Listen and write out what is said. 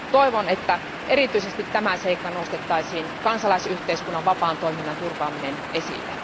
Toivon, että erityisesti nostettaisiin kansalaisyhteiskunnan vapaan toiminnan turvaaminen esille.